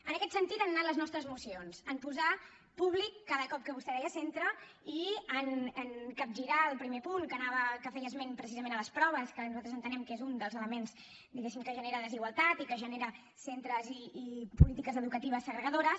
en aquest sentit han anat les nostres esmenes en posar públic cada cop que vostè deia centre i en capgirar el primer punt que feia esment precisament de les proves que nosaltres entenem que és un dels elements diguéssim que genera desigualtat i que genera centres i polítiques educatives segregadores